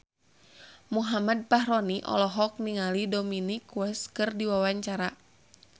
Muhammad Fachroni olohok ningali Dominic West keur diwawancara